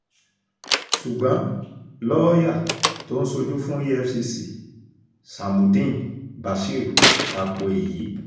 ṣùgbọ́n lọ́ọ́yà tó ń ṣojú fún efcc shamuddeen bashir ta ko èyí